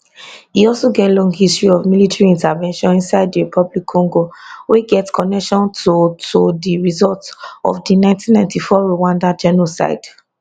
e also get long history of military intervention inside dr congo wey get connection to to di result of di 1994 rwanda genocide